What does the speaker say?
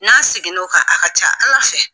N'a segin n'o kan, a ka ca Ala fɛ.